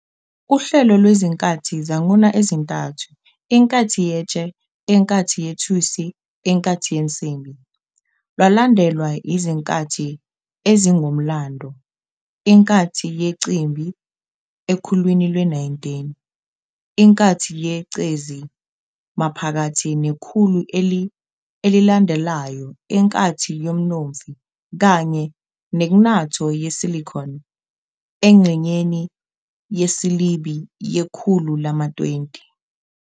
Uhlelo lwezinkathi zanguna ezintathu, iNkathi yeTshe, iNkathi yeThusi, iNkathi yeNsimbi, lwalandelwa izinkathi ezingokomlando- inkathi yenqimbi ekhulwini lwe-19, inkathi yegcezi maphakathi nekhulu elilandelayo, inkathi yomnomfi, kanye neknatho yesilicon engxenyeni yesibili yekhulu lama-20.